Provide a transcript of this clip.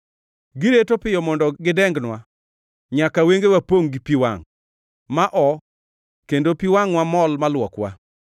Giret piyo mondo gidengnwa, nyaka wengewa pongʼ gi pi wangʼ ma oo kendo pi wangʼwa mol ma luokwa.